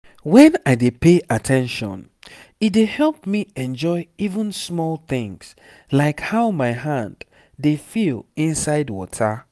when i dey pay at ten tion e dey help me enjoy even small tins like how my hand dey feel inside water